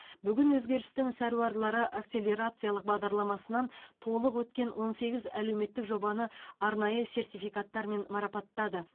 бүгін өзгерістің сәруарлары акселерациялық бағдарламасынан толық өткен он сегіз әлеуметтік жобаны арнайы сертификаттармен марапаттады